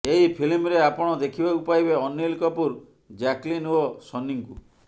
ଏହି ଫିଲ୍ମରେ ଆପଣ ଦେଖିବାକୁ ପାଇବେ ଅନିଲ କପୁର ଜ୍ୟାକଲିନ ଓ ସନିଙ୍କୁ